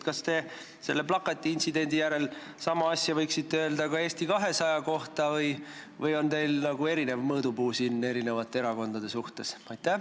Kas te selle plakatiintsidendi järel võite sama asja öelda ka Eesti 200 kohta või on teil nagu erinev mõõdupuu eri erakondade suhtes?